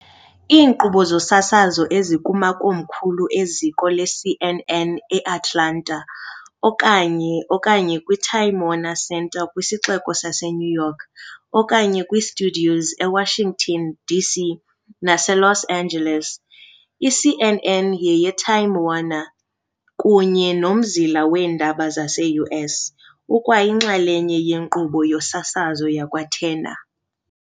Iinkqubo zosasazo ezikumakomkhulu e-ziko leCNN eAtlanta, okanye, okanye kwi-Time Warner Center kwisixeko sase-New York, okanye kwi-studios e-Washington, D.C., nase-Los Angeles. I-CNN yeye-Time Warner, kunye nomzila weendaba zase-U.S. ukwayinxalenye ye-nkqubo yosasazo yakwa-Turner.